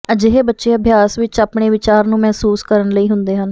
ਅਜਿਹੇ ਬੱਚੇ ਅਭਿਆਸ ਵਿੱਚ ਆਪਣੇ ਵਿਚਾਰ ਨੂੰ ਮਹਿਸੂਸ ਕਰਨ ਲਈ ਹੁੰਦੇ ਹਨ